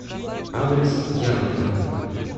адрес ярмарка